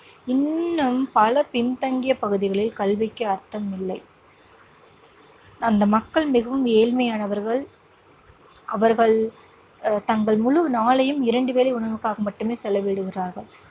இன்னும் பல பின்தங்கிய பகுதிகளில் கல்விக்கு அர்த்தம் இல்லை. அந்த மக்கள் மிகவும் ஏழ்மையானவர்கள். அவர்கள் அஹ் தங்கள் முழு நாளையும் இரண்டு வேளை உணவுக்காக மட்டுமே செலவிடுகிறார்கள்.